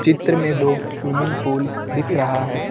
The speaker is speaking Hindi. इतर में दो स्विमिंग पूल दिख रहा है।